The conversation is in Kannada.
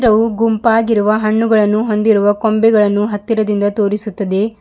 ಉ ಗುಂಪಾಗಿರುವ ಹಣ್ಣುಗಳನ್ನು ಹೊಂದಿರುವ ಕೊಂಬೆಗಳನ್ನು ಹತ್ತಿರದಿಂದ ತೋರಿಸುತ್ತದೆ.